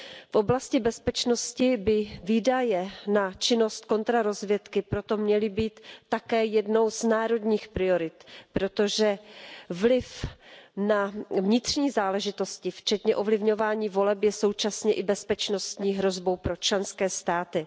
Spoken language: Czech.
V oblasti bezpečnosti by výdaje na činnosti kontrarozvědky proto měly být také jednou z národních priorit, protože vliv na vnitřní záležitosti, včetně ovlivňování voleb, je současně i bezpečnostní hrozbou pro členské státy.